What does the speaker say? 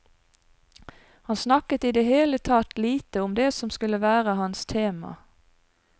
Han snakket i det hele tatt lite om det som skulle være hans tema.